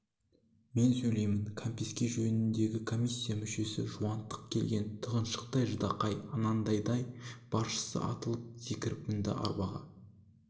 мен сөйлеймін кәмпеске жөніндегі комиссия мүшесі жуантық келген тығыншықтай ждақай анадайдан барысша атылып секіріп мінді арбаға